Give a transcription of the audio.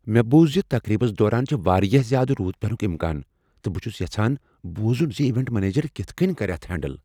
مےٚ بوٗز ز تقریبس دوران چھ واریاہ زیٛادٕ روٗد پینک امکان تہٕ بہٕ چھس یژھان بوزن ز ایونٹ منیجر کتھ کٔنۍ کر اتھ ہینڈل۔